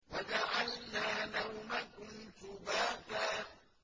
وَجَعَلْنَا نَوْمَكُمْ سُبَاتًا